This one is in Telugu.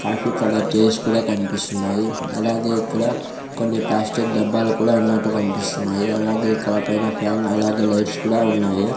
కాఫీ కలర్ చైర్స్ కూడా కనిపిస్తున్నాయి అలాగే ఇక్కడ కొన్ని ప్లాస్టిక్ డబ్బాలు కూడా ఉన్నట్టు కనిపిస్తున్నాయి అలాగే ఇక్కడ పైన ఫ్యాన్ అలాగే లైట్స్ కూడా ఉన్నాయి.